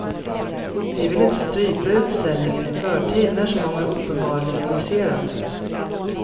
Vi vill inte strypa utställningen i förtid när så många uppenbarligen vill se den.